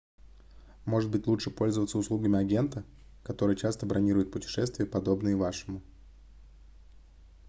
может быть лучше пользоваться услугами агента который часто бронирует путешествия подобные вашему